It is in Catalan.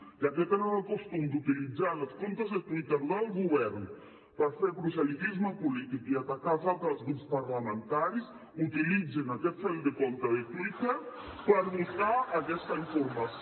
ja que tenen el costum d’utilitzar els comptes de twitter del govern per fer proselitisme polític i atacar els altres grups parlamentaris utilitzin aquest fil de compte de twitter per buscar aquesta informació